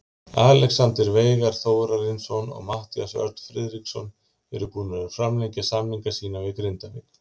Alexander Veigar Þórarinsson og Matthías Örn Friðriksson eru búnir að framlengja samninga sína við Grindavík.